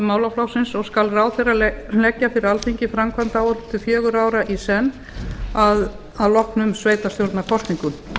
málaflokksins og skal ráðherra leggja fyrir alþingi framkvæmdaáætlun til fjögurra ára í senn að loknum sveitarstjórnarkosningum